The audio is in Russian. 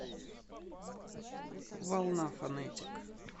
волна фонетик